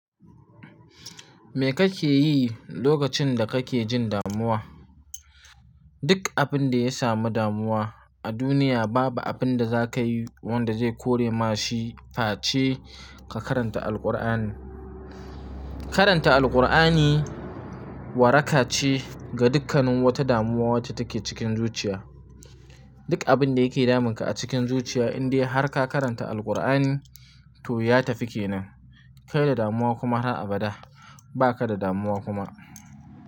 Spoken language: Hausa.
Me kake yi lokacin da kake jin damuwa? Duk abin da ya samu damuwa a duniya, babu abin da zakayi wanda zai kore ma shi face ka karanta Alkur'ani. Karanta Alkur'ani waraka ce ga dukkanin wata damuwa wacce take cikin zuciya. Duk abin da yake damunka a cikin zuciya in dai har ka karanta Alkur'ani to ya tafi kenan. Kai da damuwa kuma har abada, ba ka da damuwa kuma.